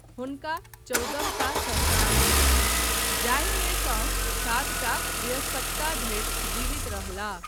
हुनका चौदहटा संतान भेलनि, जाहिमे सँ सातटा वयस्कता धरि जीवित रहलाह।